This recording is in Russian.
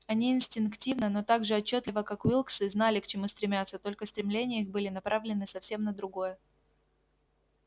они инстинктивно но так же отчётливо как уилксы знали к чему стремятся только стремления их были направлены совсем на другое